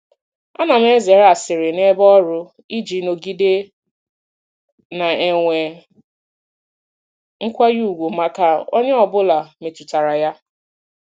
Ana m ezere asịrị n'ebe ọrụ iji nọgide na-enwe nkwanye ùgwù maka onye ọ bụla metụtara ya.